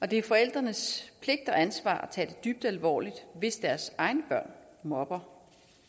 det er forældrenes pligt og ansvar at tage det dybt alvorligt hvis deres egne børn mobber